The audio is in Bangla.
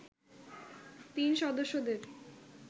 তিন সদস্যদের